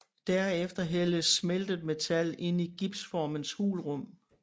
Derefter hældes smeltet metal ind i gipsformens hulrum